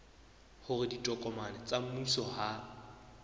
hore ditokomane tsa mmuso ha